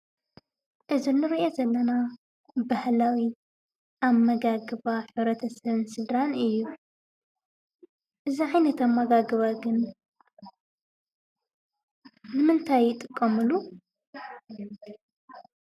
እዚ እንሪኦ ዘለና ባህላዊ አመጋግባ ሕብረተሰብን ስድራ እዩ፡፡ እዚ ዓይነት አመጋግባ ግን ንምንታይ ይጥቀምሉ?